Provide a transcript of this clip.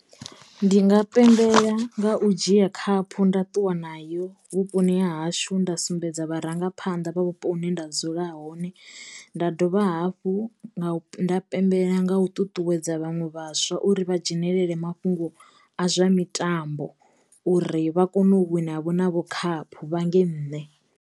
Ndi nga pembela nga u dzhia khaphu nda ṱuwa nayo vhuponi ha hashu nda sumbedza vharangaphanḓa vha vhupo hune nda dzula hone nda dovha hafhu nga u nda pembelela nga u ṱuṱuwedza vhaṅwe vhaswa uri vha dzhenelele mafhungo a zwa mitambo uri vha kono u wina vho na vho khaphu vhange nne.